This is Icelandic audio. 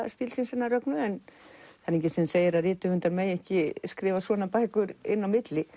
stílsins hennar Rögnu en það er enginn sem segir að rithöfundar megi ekki skrifa svona bækur inn á milli